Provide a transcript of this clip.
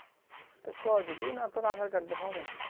তা কৈছে কি না তোর aadhar card দিয়ে হবে না